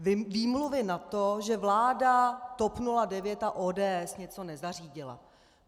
Výmluvy na to, že vláda TOP 09 a ODS něco nezařídila.